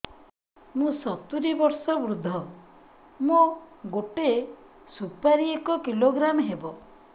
ମୁଁ ସତୂରୀ ବର୍ଷ ବୃଦ୍ଧ ମୋ ଗୋଟେ ସୁପାରି ଏକ କିଲୋଗ୍ରାମ ହେବ